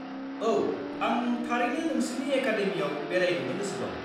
औ, आं थारैनो नोंसिनि एकादेमियाव बेरायहैनो गोसो दं।